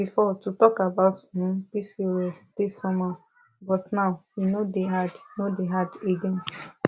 before to talk about um pcos dey somehow but now e no dey hard no dey hard again